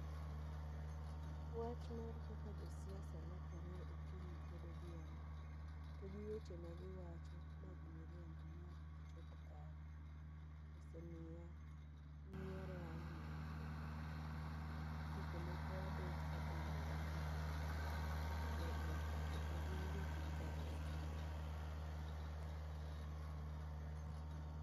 Wach mar kaka jo siasa lokore okinyi kod odhiambo, to gi weche ma giwacho mag miriambo ma ok gichop kare. Ose miya nyiero ahinya kendo seche moko abet kapenjora ni to eh, jogi be gin jok ma kare adier?